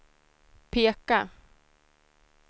peka